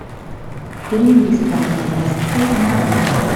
фильм бесплатные образцы нарой